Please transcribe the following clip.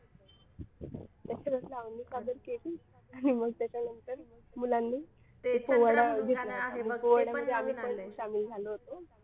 लावणी सादर केली आणि मग त्याच्यानंतर मुलांनी ते पोवाडा घेतला होता. पोवाडा मध्ये आम्ही पण सामील झालो होतो.